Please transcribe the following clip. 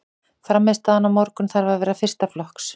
Frammistaðan á morgun þarf að vera fyrsta flokks.